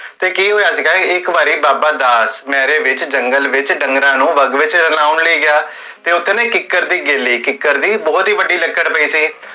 ਤੇ ਕੀ ਹੋਇਆ ਸੀਗਾ, ਇਕ ਵਾਰੀ ਬਾਬਾ ਦਾਸ, ਹਨੇਰੇ ਵਿਚ, ਜੰਗਲ ਵਿਚ, ਡੰਗਰਾਂ ਨੂੰ ਵਾਗ ਵਿਚ ਲਵਾਓੰ ਲਈ ਗਿਆ, ਤੇ ਓਥੇ ਨਾ ਇਕ ਕਿੱਕਰ ਦੀ ਗੇਲੀ ਕਿੱਕਰ ਦੀ ਬੋਹੋਤ ਹੀ ਵੱਡੀ ਲਕੜ ਪੀ ਸੀ ਤੇ ਕੀ